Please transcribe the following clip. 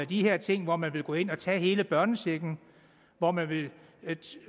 de her ting hvor man vil gå ind og tage hele børnechecken og hvor man vil